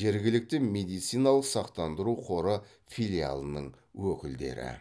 жергілікті медициналық сақтандыру қоры филиалының өкілдері